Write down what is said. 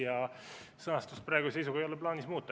Ja sõnastust ei ole praeguse seisuga plaanis muuta.